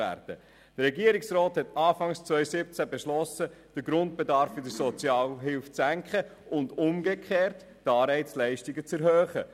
Der Regierungsrat hat Anfang 2017 beschlossen, den Grundbedarf in der Sozialhilfe zu senken und umgekehrt die Anreizleistungen zu erhöhen.